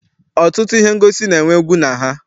Ọtụtụ ihe ngosi na-enwe egwu na ha.